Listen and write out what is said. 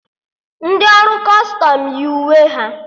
Ndị ọrụ Kọstọm yi uwe ha